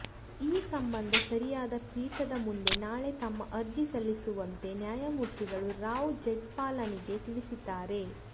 ಈ ಸಂಬಂಧ ಸರಿಯಾದ ಪೀಠದ ಮುಂದೆ ನಾಳೆ ತಮ್ಮ ಅರ್ಜಿ ಸಲ್ಲಿಸುವಂತೆ ನ್ಯಾಯಮೂರ್ತಿಗಳು ರಾಮ್ ಜೇಠ್ಮಲಾನಿಗೆ ತಿಳಿಸಿದ್ದಾರೆ